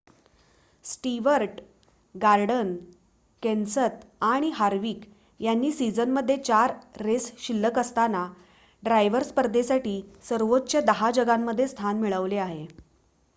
Stewart Gordon Kenseth आणि Harvick यांनी सिझनमध्ये चार रेस शिल्ल्क असताना ड्रायव्हर स्पर्धेसाठी सर्वोच्च दहा जागांमध्ये स्थान मिळवले आहे